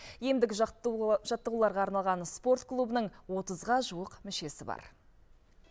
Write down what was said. емдік жаттығуларға арналған спорт клубының отызға жуық мүшесі бар